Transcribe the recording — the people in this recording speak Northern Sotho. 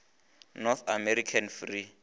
north american free